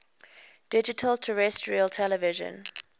digital terrestrial television